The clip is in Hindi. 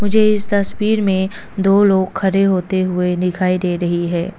मुझे इस तस्वीर में दो लोग खड़े होते हुए दिखाई दे रही है।